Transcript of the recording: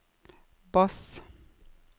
bass